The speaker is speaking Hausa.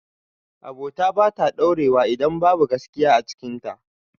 Abota bata ɗaurewa idan babu gaskiya a cikin ta